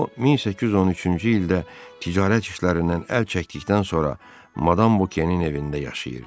O 1813-cü ildə ticarət işlərindən əl çəkdikdən sonra madam Vokenin evində yaşayırdı.